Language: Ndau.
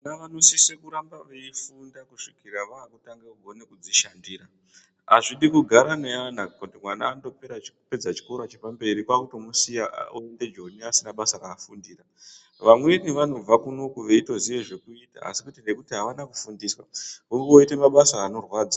Vana vanosise kuramba veifunda kusvikira vakutanga kukone kudzishandira. Azvidi kugara neana kuti mwana andopedza chikora chepamberi kwakutomusiya oenda joni asina basa rafundira. Vamweni vanobva kunoku veitoziya zvekuita asi kuti ngekuti avana kufundiswa voite mabasa anorwadza.